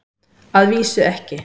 Að vísu ekki.